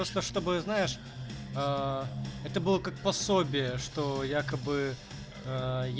просто чтобы знаешь аа это было как пособие что якобы аа